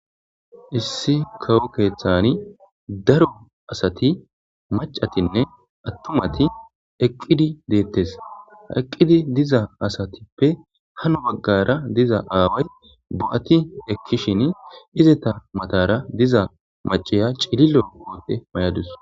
Issi kawo keeththani daro asati macatinne attumati eqqidi deettes aqqidi diza asatippe hano baggara diza aaway bo7ati ekkishin izita matara diza maciya cililo goote may'adus.